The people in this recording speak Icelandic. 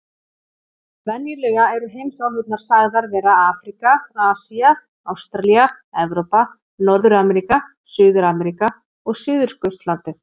Venjulega eru heimsálfurnar sagðar vera Afríka, Asía, Ástralía, Evrópa, Norður-Ameríka, Suður-Ameríka og Suðurskautslandið.